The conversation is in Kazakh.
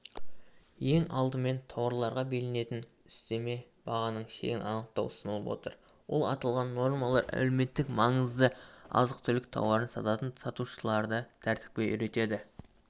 ең алдымен тауарларға белгіленетін үстеме бағаның шегін анықтау ұсынылып отыр ол аталған нормалар әлеуметтік маңызды азық-түлік тауарын сататын сатушыларды тәртіпке үйретеді